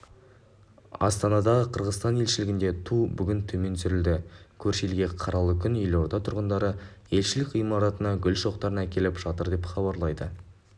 астанадағы қырғызстан елшілігіндегі ту бүгін төмен түсірілді көрші елде қаралы күн елорда тұрғындары елшілік ғимаратына гүл шоқтарын әкеліп жатыр деп хабарлайды